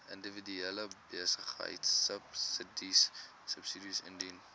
individuele behuisingsubsidies diens